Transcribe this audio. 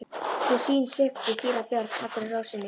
Sú sýn svipti síra Björn allri ró sinni.